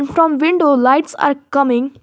From window lights are coming.